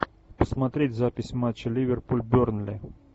посмотреть запись матча ливерпуль бернли